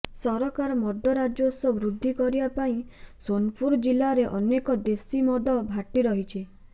ସରକାର ମଦ ରାଜସ୍ୱ ବୃଦ୍ଧି କରିବାପାଇଁ ସୋନପୁର ଜିଲାରେ ଅନେକ ଦେଶୀ ମଦ ଭାଟି ରହିଛି